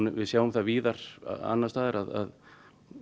við sjáum það víðar annars staðar